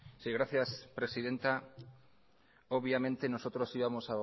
sí gracias presidenta obviamente nosotros íbamos